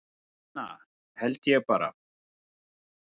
Nína held ég bara